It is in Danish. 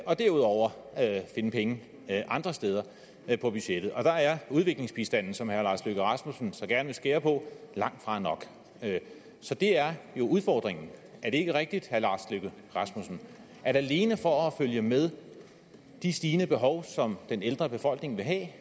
og derudover finde penge andre steder på budgettet og der er udviklingsbistanden som herre lars løkke rasmussen så gerne vil skære på langtfra nok så det er jo udfordringen er det ikke rigtigt herre lars løkke rasmussen at alene for at følge med de stigende behov som den ældre befolkning vil have